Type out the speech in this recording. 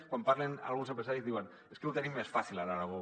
quan parlen alguns empresaris diuen és que ho tenim més fàcil a l’aragó